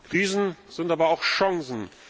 Krisen sind aber auch Chancen.